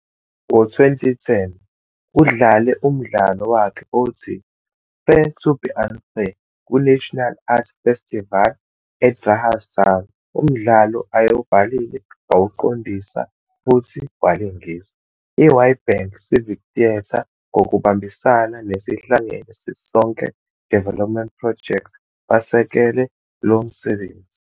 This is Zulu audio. Ngo-2010 udlale umdlalo wakhe othi 'Fair To be Un-Fair' kuNational Arts Festival eGrahamstown, umdlalo ayewubhalile, wawuqondisa futhi walingisa. I-Witbank Civic Theatre ngokubambisana ne-Sihlangene Sisonke Development Project basekele lo msebenzi.